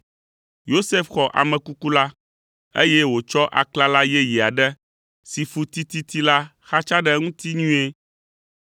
Yosef xɔ ame kuku la, eye wòtsɔ aklala yeye aɖe si fu tititi la xatsa ɖe eŋuti nyuie,